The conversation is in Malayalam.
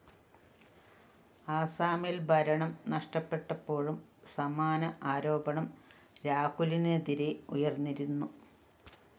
ആസാമില്‍ ഭരണം നഷ്ടപ്പെട്ടപ്പോഴും സമാന ആരോപണം രാഹുലിനെതിരെ ഉയര്‍ന്നിരുന്നു